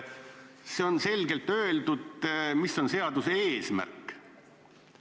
See on selgelt öeldud, mis on seaduse eesmärk.